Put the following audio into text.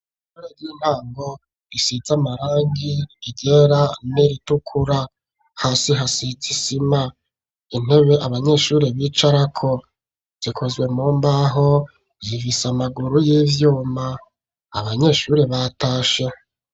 Ishure ry'intango isize amarangi yera n'iritukura hasi hasikisima intebe abanyeshuri bicarako zikozwe mu mbaho zivise amaguru y'ivyuma abanyeshuri batashe.